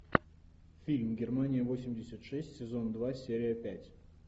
фильм германия восемьдесят шесть сезон два серия пять